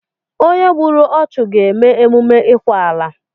Onye gbùrù ọchu ga eme emume ikwa ala